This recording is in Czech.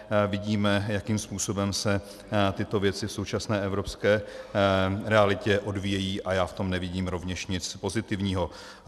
Vidíme, jakým způsobem se tyto věci v současné evropské realitě odvíjejí, a já v tom nevidím rovněž nic pozitivního.